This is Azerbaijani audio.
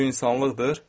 Bu insanlıqdır?